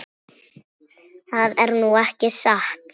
Það er nú ekki satt.